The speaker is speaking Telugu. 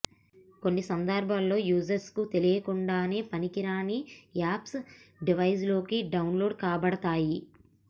కొన్ని సందర్బాల్లో యూజర్కు తెలియకుండానే పనికిరాని యాప్స్ డివైస్లోకి డౌన్లోడ్ కాబడతాయి